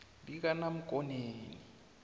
likanamkoneni